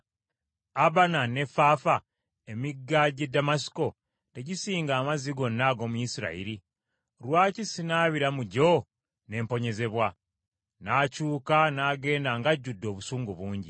Abana ne Faafa, emigga gy’e Damasiko tegisinga amazzi gonna ag’omu Isirayiri? Lwaki sinaabira mu gyo ne mponyezebwa?” N’akyuka n’agenda ng’ajjudde obusungu bungi.